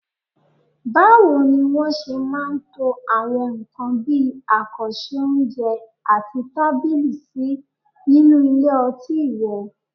Báwo ni wọ́n ṣe máa ń to àwọn nǹkan bí àkànṣe oúnjẹ àti tábìlì sí nínú ilé ọtí rẹ?